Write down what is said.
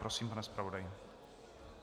Prosím, pane zpravodaji.